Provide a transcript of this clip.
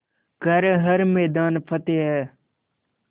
कर हर मैदान फ़तेह